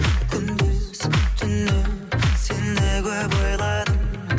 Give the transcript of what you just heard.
күндіз түні сені көп ойладым